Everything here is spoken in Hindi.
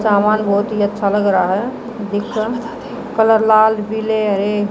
सामान बहुत ही अच्छा लग रहा है जिसका कलर लाल पीले हरे।